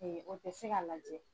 o tɛ se ka lajɛ.